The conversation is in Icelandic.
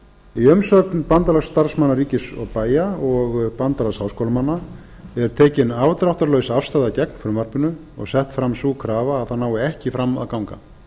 í umsögn b s r b og b h m er tekin afdráttarlaus afstaða gegn frumvarpinu og sett fram sú krafa að það nái ekki fram að ganga